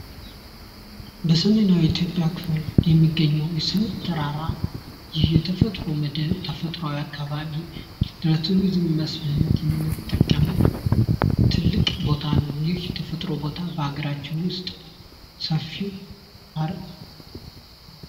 በሰሜናዊ የኢትዮጵያ ክፍል የሚገኘው የሰሜን ተራራ የተፈጥሮ ክፍል ተፈጥሮ አካባቢ ለቱሪዝም መስህብነት የምንጠቀመው ትልቅ ቦታ ነው ፤ ይህ ቦታ በሀገራችን ውስጥ ሰፊው ፓርክ ነው።